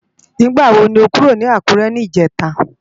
Nigbá wo ló kúró ni Akure nijètá?